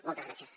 moltes gràcies